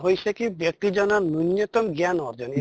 হৈছে কি ব্য়ক্তি জনৰ ন্য়ুন্য়তম জ্ঞান অৰ্জন